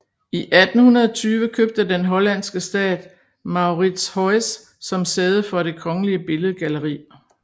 I 1820 købte den hollandske stat Mauritshuis som sæde for det kongelige billedgalleri